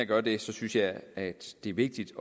gør det synes jeg at det er vigtigt